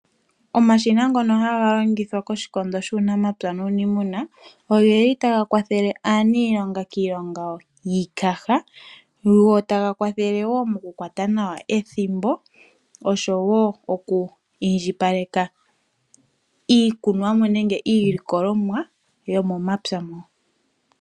Omashina ngoka haga longithwa koshikondo shuunamapya nuunimuna ogeli taga kwathele aaniilonga kiilonga yiikaha go taga kwathele woo moku kwata nawa ethimbo osho woo okwiindjipaleka iikunomwa nenge iilikolomwa yomomapya mo.